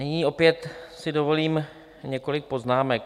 Nyní opět si dovolím několik poznámek.